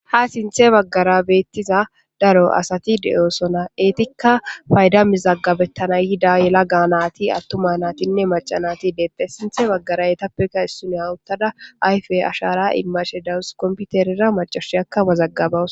Ha sinthe baggara bettiza daro asati de'osona eetikka fayda mizaggabettana yida yela ga naati attuma naatinne macanati deettes sinthe baggara yetappekka issun hawuttada ayfe ashara imashe dawus komputerira macashi akka wazaggabawuko